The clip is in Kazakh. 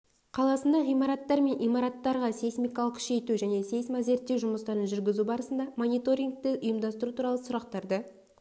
қаласында ғимараттар мен имараттарға сейсмикалық күшейту және сейсмозерттеу жұмыстарын жүргізу барысына мониторингті ұйымдастыру туралы сұрақтары